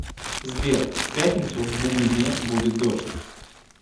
сбер в пятницу в бугульме будет дождь